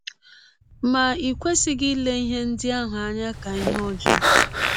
Ma i kwesịghị ile ihe ndị ahụ anya ka ihe ọjọọ.